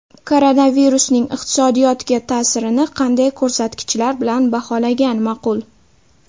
Koronavirusning iqtisodiyotga ta’sirini qanday ko‘rsatkichlar bilan baholagan ma’qul?